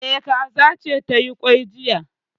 E, kaza ce ta yi kwai jiya